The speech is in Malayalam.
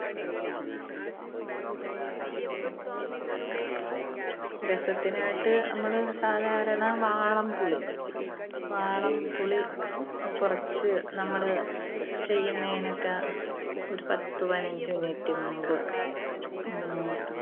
രസത്തിനായിട്ട് നമ്മള് സാധാരണ വാളൻപുളി, വാളൻപുളി അഹ് കുറച്ച് നമ്മള് ചെയ്യുന്നതിനൊക്കെ ഒരു പത്തുപതിനഞ്ച് minute മുൻപ് ഉം